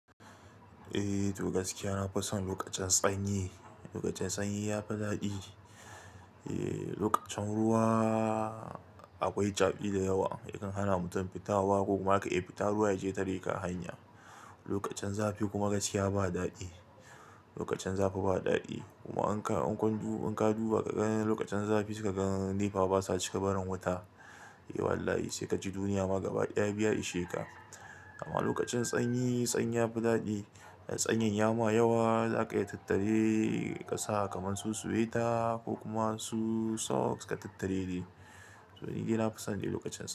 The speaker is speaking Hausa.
Eh toh gaskiya, na fison lokacin sanyi. Lokacin sanyi ya fi daɗi. Eh, lokacin ruwa akwai caɓi da yawa yakan hana mutum fitowa ko kuma aka iya fita ruwa ya je tareka hanya. Lokacin zafi kuma gaskiya ba daɗi. Lokacin zafi ba daɗi kuma in ka, in ka duba ka ga lokacin zafi saika ga nefa basa cika barin wuta. Eh wallahi sai ka ji duniya ma gaba ɗaya biya isheka. Amma lokacin sanyi, sanyi ya fi daɗi. Sanyin ya ma yawa za ka iya tattare ka sa kamar su sweta ko kuma su socks ka tattare ne. To ni dai na fison lokacin sanyi.